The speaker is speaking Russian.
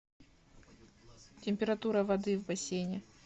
температура воды в бассейне